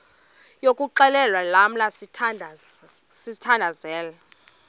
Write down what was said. yokuxhelwa lamla sithandazel